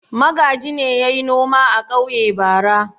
Magaji ne ya yi noma a ƙauye bara.